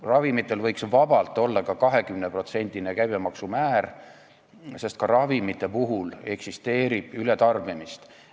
Ravimitele võiks vabalt kehtida ka käibemaksu määr 20%, sest nendegi puhul eksisteerib ületarbimist.